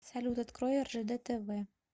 салют открой ржд тв